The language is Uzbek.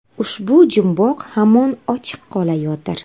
Ushbu jumboq hamon ochiq qolayotir.